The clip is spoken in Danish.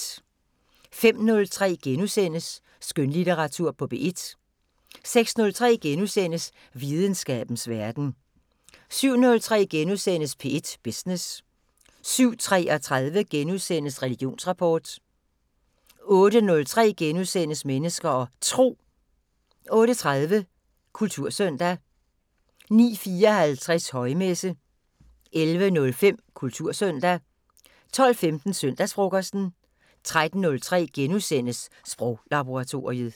05:03: Skønlitteratur på P1 * 06:03: Videnskabens Verden * 07:03: P1 Business * 07:33: Religionsrapport * 08:03: Mennesker og Tro * 08:30: Kultursøndag 09:54: Højmesse - 11:05: Kultursøndag 12:15: Søndagsfrokosten 13:03: Sproglaboratoriet *